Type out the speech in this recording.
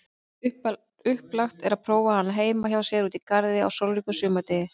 Upplagt er prófa hana heima hjá sér úti í garði á sólríkum sumardegi.